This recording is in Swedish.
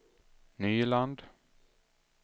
Nyland